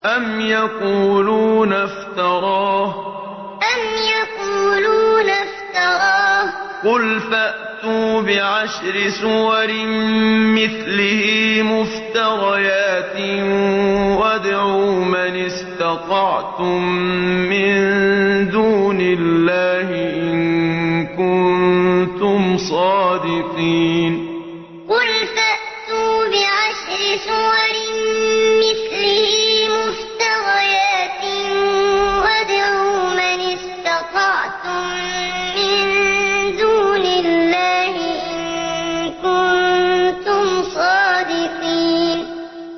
أَمْ يَقُولُونَ افْتَرَاهُ ۖ قُلْ فَأْتُوا بِعَشْرِ سُوَرٍ مِّثْلِهِ مُفْتَرَيَاتٍ وَادْعُوا مَنِ اسْتَطَعْتُم مِّن دُونِ اللَّهِ إِن كُنتُمْ صَادِقِينَ أَمْ يَقُولُونَ افْتَرَاهُ ۖ قُلْ فَأْتُوا بِعَشْرِ سُوَرٍ مِّثْلِهِ مُفْتَرَيَاتٍ وَادْعُوا مَنِ اسْتَطَعْتُم مِّن دُونِ اللَّهِ إِن كُنتُمْ صَادِقِينَ